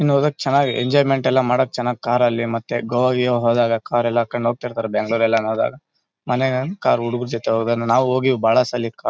ಹಿಂಗ್ ಹೋಗಗ್ ಚನಾಗಿದೆ ಎಂಜಾಯ್ಮೆಂಟ್ ಮಡಕ್ಕೆಲ್ಲಾ ಚನಾಗ್ ಕಾರ್ ಲ್ಲಿ ಮತ್ತೆ ಗೋವಾ ಗೀವಾ ಹೋದಾಗ ಕಾರಲ್ ಹಾಕೊಂಡ್ ಹೋಗ್ತಿರ್ತಾರೆ ಬೆಂಗಳೂರ್ ಎಲ್ಲಾ ಹೋದಾಗ ಮೊನ್ನೆ ಒಂದ್ ಕಾರ್ ಹುಡುಗರ ಜೊತೆ ಹೋದಾಗ ನಾವ್ ಹೋಗಿದಿವ್ ಬಹಳ ಸಲಿ .